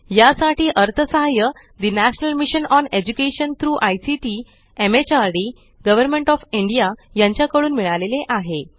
यासाठी अर्थसहाय्य the national mission on education through ICT MHRD government of India कडून मिळाले आहे